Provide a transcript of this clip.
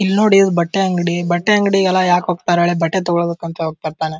ಇಲ್ನೋಡಿ ಇದು ಬಟ್ಟೆ ಅಂಗಡಿ ಬಟ್ಟೆ ಅಂಗಡಿಗೆ ಎಲ್ಲ ಯಾಕ ಹೋಗ್ತಾರೆ ಬಟ್ಟೆ ತಗೋಳೋಕೆ ಅಂತ ಹೋಗ್ತಾ ಇರ್ತಾನೆ.